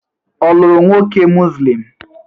Ọ lụrụ nwoke Muslim?